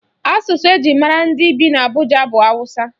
Asụsụ eji mara ndị bi n'Abụja bụ Awụsa.